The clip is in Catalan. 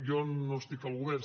jo no estic al govern